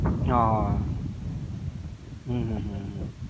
હા હા હા હમ હમ હમ